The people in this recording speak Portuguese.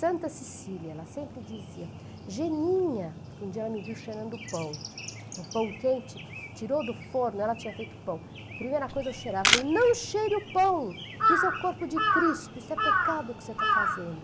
Santa Cecília, ela sempre dizia, Geninha, porque um dia ela me viu cheirando pão, um pão quente, tirou do forno, ela tinha feito pão, a primeira coisa é eu cheirar, ela falou, não cheire o pão! Isso é o corpo de Cristo, isso é pecado o que você está fazendo.